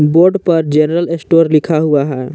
Board पर general store लिखा हुआ है।